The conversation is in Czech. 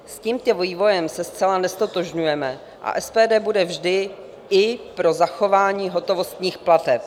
S tímto vývojem se zcela neztotožňujeme a SPD bude vždy i pro zachování hotovostních plateb.